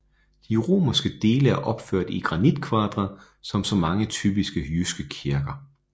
De romanske dele er opført i granitkvadre som så mange typiske jyske kirker